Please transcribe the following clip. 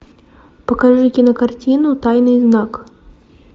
покажи кинокартину тайный знак